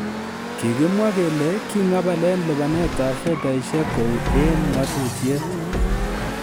Kigimwa kele king'abalen lipanet ab fedhaisiek kou en ng'atutiet